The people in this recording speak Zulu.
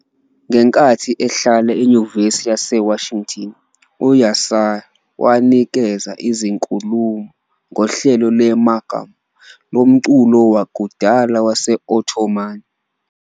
Ngenkathi ehlala eNyuvesi yaseWashington, u-Yaşar wanikeza izinkulumo ngohlelo lwe- "makam" lomculo wakudala wase-Ottoman.